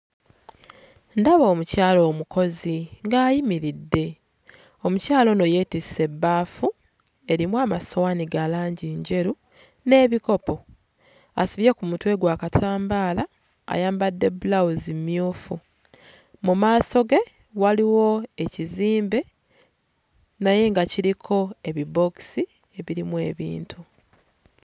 Ndaba omukyala omukozi ng'ayimiridde, omukyala ono yeetisse ebbafu erimu amasowaani ga langi njeru n'ebikopo, asibye ku mutwe gwe akatambaala ayambadde bbulawuzi mmyufu, mu maaso ge waliwo ekizimbe naye nga kiriko ebibookisi ebirimu ebintu